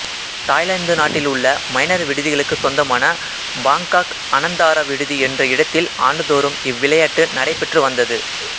Thailand நாட்டில் உள்ள Minor விடுதிகளுக்கு சொந்தமான பாங்காக் அனந்தாரா விடுதி என்ற இடத்தில் ஆண்டுதோறும் இவ்விளையாட்டு நடைபெற்று வந்தது